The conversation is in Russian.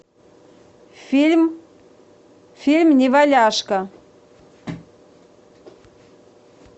фильм фильм неваляшка